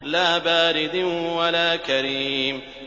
لَّا بَارِدٍ وَلَا كَرِيمٍ